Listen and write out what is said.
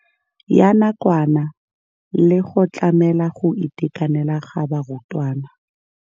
Ya nakwana le go tlamela go itekanela ga barutwana.